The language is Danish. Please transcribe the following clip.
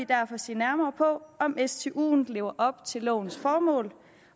derfor se nærmere på om stuen lever op til lovens formål